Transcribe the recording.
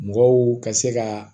Mɔgɔw ka se ka